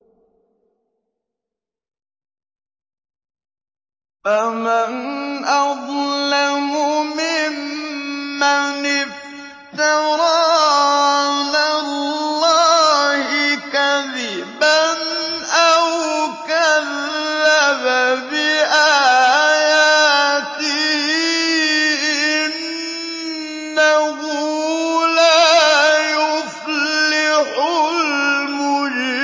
فَمَنْ أَظْلَمُ مِمَّنِ افْتَرَىٰ عَلَى اللَّهِ كَذِبًا أَوْ كَذَّبَ بِآيَاتِهِ ۚ إِنَّهُ لَا يُفْلِحُ الْمُجْرِمُونَ